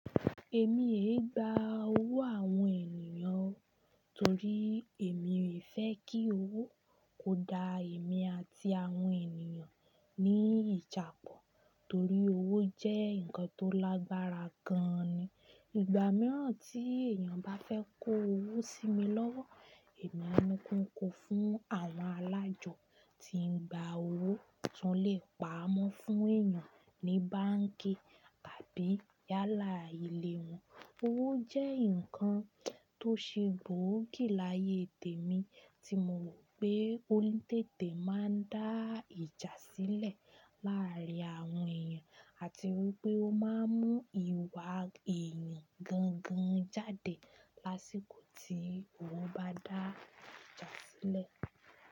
Èmi e gba owó àwọn ènìyàn o torí èmi ò fẹ́ kí owó kó dá èmi àti àwọn ènìyàn ní ìjàpọ̀ torí owó jẹ́ ǹkan tó lágbára gan ni. Ìgbà mìíràn tí èèyàn bá fẹ́ kó owó sí mi lọ́wọ́, èmi máa ńi kiwon fún àwọn alájọ tí ń gba owó tí wọ́n lè pa'mọ́ fún èèyàn ní báǹkì tàbí yálà ilé wọn. Owó jẹ́ ǹkan tó ṣe gbòógì láyé tèmi tí mo rò pé ó ní tètè máa ń dá ìjà sílẹ̀ láàárín àwọn èèyàn àti wípé ó máa ń mú ìwà èèyàn gangan jáde lásìkò tí owó bá dá ìjà sílẹ̀.